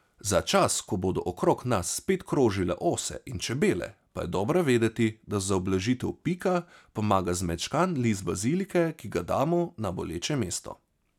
Za čas, ko bodo okrog nas spet krožile ose in čebele, pa je dobro vedeti, da za ublažitev pika pomaga zmečkan list bazilike, ki ga damo na boleče mesto.